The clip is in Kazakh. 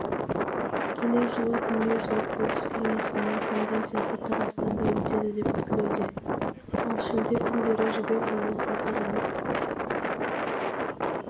келер жылы дүниежүзілік бокс кеңесінің конвенциясы қазақстанда өтеді деп күтілуде ал шілде күндері жібек жолы халықаралық